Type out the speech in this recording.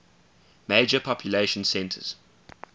major population centers